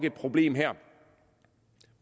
et problem her